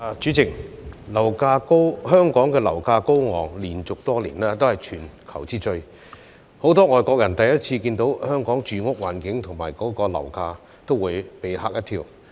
主席，香港樓價高昂，連續多年都是全球之最，很多外國人首次看到香港住屋環境和樓價，也會被嚇一跳。